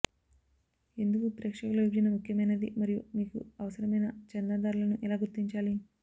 ఎందుకు ప్రేక్షకుల విభజన ముఖ్యమైనది మరియు మీకు అవసరమైన చందాదారులను ఎలా గుర్తించాలి